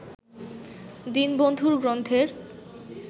দীনবন্ধুর গ্রন্থের